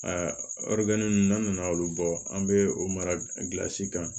ɔridinɛni nunnu n'an nana olu bɔ an be o mara gilasi kan